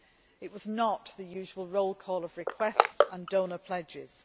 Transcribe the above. It was not the usual roll call of requests and donor pledges.